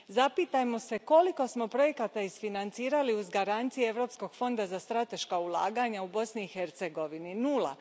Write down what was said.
Zapitajmo se koliko smo projekata isfinancirali uz garancije Europskog fonda za strateška ulaganja u Bosni i Hercegovini nula.